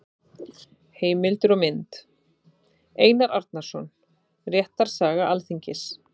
Heimildir og mynd: Einar Arnórsson: Réttarsaga Alþingis.